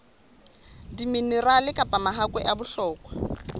diminerale kapa mahakwe a bohlokwa